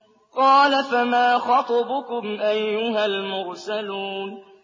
قَالَ فَمَا خَطْبُكُمْ أَيُّهَا الْمُرْسَلُونَ